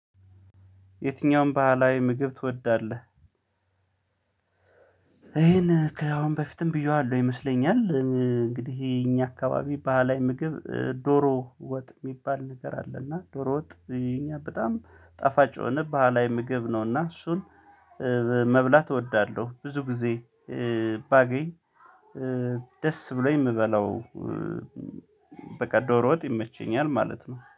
የትኛውም ባህላዊ ምግብ ትወዳለህ? ይሄን ከአሁን በፊትም ብየዋለሁ ይመስለኛል እንግዲህ ይሄ እኛ አካባቢ ባህላዊ ምግብ ዶሮ ወጥ የሚባል ነገር አለ። አለና ዶሮ ወጥ የኛ በጣም ጣፋጭ የሆነ ባህላዊ ምግብ ነውና እሱን መብላት እወዳለሁ። ብዙ ጊዜ ባገኝ ደስ ብሎኝ ምበላው። በቃ ዶሮ ወጥ ይመቸኛል ማለት ነው